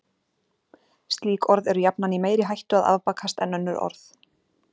Slík orð eru jafnan í meiri hættu að afbakast en önnur orð.